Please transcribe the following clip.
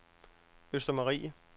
Østermarie